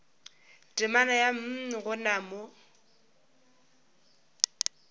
temana ya mm gona mo